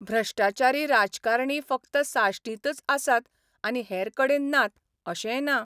भ्रश्टाचारी राजकारणी फकत साश्टींतच आसात आनी हेरकडेन नात अशेंय ना.